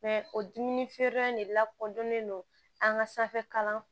o dumuni feereyɔrɔ in de lakodɔnnen don an ka sanfɛ kalan